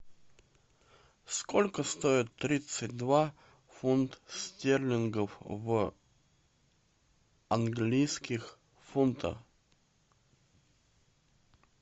сколько стоит тридцать два фунт стерлингов в английских фунтах